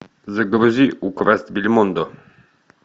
загрузи украсть бельмондо